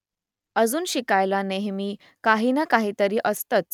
अजून शिकायला नेहमी काही ना काहीतरी असतंच !